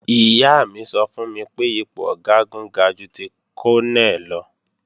Ìyá mi sọ fún mi pé ipò Ọ̀gágun ga ju ti Kọ́nẹ̀ lọ